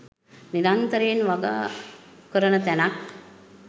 නිරන්තරයෙන් වගා කරන තැනක්.